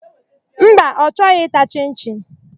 Mba, ọ chọghị ịta chịn-chịn.